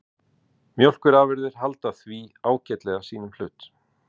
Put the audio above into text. Mjólkurafurðir halda því ágætlega sínum hlut